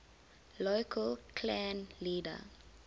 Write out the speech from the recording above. local clan leader